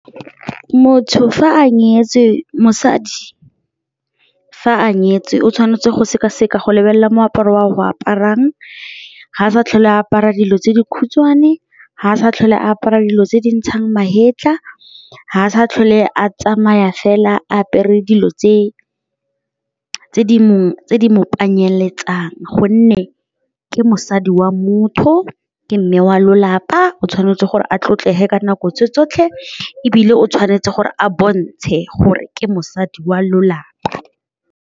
Mosadi fa a nyetswe o tshwanetse go sekaseka go lebelela moaparo o a go aparang ga a sa tlhole a apara dilo tse di khutshwane, ga a sa tlhole a apara dilo tse di ntshang magetla, ga a sa tlhole a tsamaya fela a apere dilo tse mongwe mo gonne ke mosadi wa motho, ke mme wa lelapa o tshwanetse gore a tlotlege ka nako tse tsotlhe ebile o tshwanetse gore a bontshe gore ke mosadi wa lelapa.